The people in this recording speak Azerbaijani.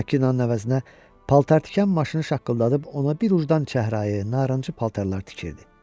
Makinənin əvəzinə paltar tikən maşını şaqqıldadıb ona bir ucdan çəhrayı, narıncı paltarlar tikirdi.